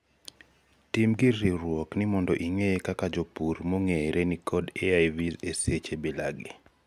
tim gir riwruok ni mondo ing'e kaka jopur mong'ere nikod AIVs e seche bila gi